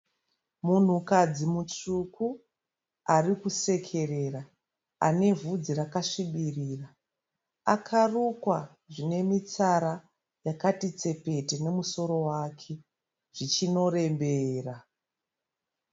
Munhukadzi mutsvuku arikusekerera. Anevhudzi rakasvibira. Akarukwa zvinemitsara yakatitsepete nemusoro wake zvichinorembera.